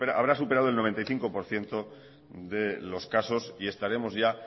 habrá superado el noventa y cinco por ciento de los casos y estaremos ya